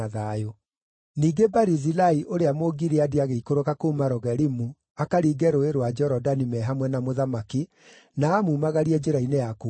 Ningĩ Barizilai, ũrĩa Mũgileadi agĩikũrũka kuuma Rogelimu akaringe Rũũĩ rwa Jorodani me hamwe na mũthamaki, na amumagarie njĩra-inĩ ya kuuma kũu.